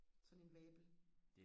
sådan en vabel